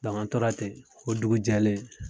Dɔnke an tɔra ten o dugu jɛlen